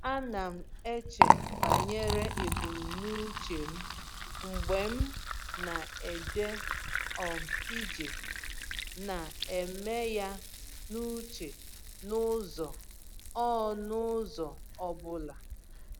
A na m eche banyere ebumnuche m mgbe m na-eje um ije, na-eme ya n’uche n’ụzọ ọ n’ụzọ ọ bụla.